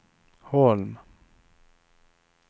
Holm